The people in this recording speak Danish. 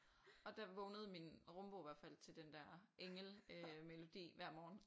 Og der vågnede min rumbo i hvert fald til den der engel øh melodi hver morgen